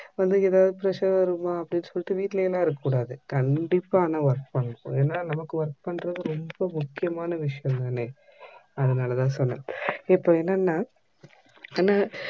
வந்து எதாவது pressure வருமா அப்டினு சொல்லிட்டு வீட்டுலெல்லாம் இருக்க கூடாது கண்டிப்பா ஆனா work பண்ணனும் நமக்கு work பண்ணுறது ரொம்ப முக்கியமான விஷயம் தானே அதுனாலதா சொன்ன இப்போ என்னனா என்ன